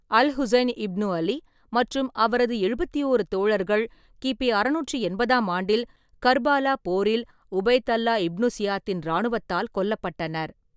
Al-Hussain ibn Ali மற்றும் அவரது எழுபத்தி ஓரு தோழர்கள் கி. பி. அறுநூற்றி எண்பதாம் ஆண்டில் கர்பாலா போரில் உபைத் அல்லா இப்னு சியாத்தின் இராணுவத்தால் கொல்லப்பட்டனர்.